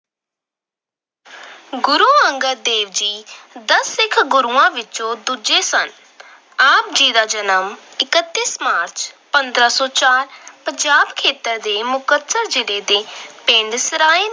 ਗੁਰੂ ਅੰਗਦ ਦੇਵ ਜੀ ਦਸ ਸਿੱਖ ਗੁਰੂਆਂ ਵਿੱਚੋਂ ਦੂਜੇ ਸਨ। ਆਪ ਜੀ ਦਾ ਜਨਮ ਇੱਕਤੀ ਮਾਰਚ, ਪੰਦਰਾਂ ਸੌ ਚਾਰ ਪੰਜਾਬ ਖੇਤਰ ਦੇ ਮੁਕਤਸਰ ਜ਼ਿਲ੍ਹੇ ਦੇ ਪਿੰਡ ਸਰਾਏ